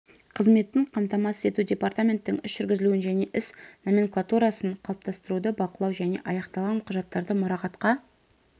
қызметін қамтамасыз ету департаменттің іс жүргізілуін және іс номенклатурасын қалыптастыруды бақылау және аяқталған құжаттарды мұрағатқа